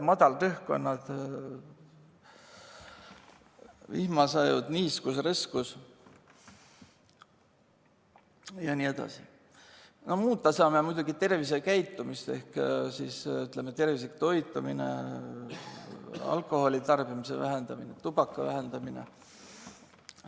Muuta saame muidugi tervisekäitumist: tervislik toitumine, alkoholitarbimise vähendamine, tubakatarbimise vähendamine.